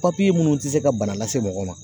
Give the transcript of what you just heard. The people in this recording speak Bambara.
minnu tɛ se ka bana lase mɔgɔ ma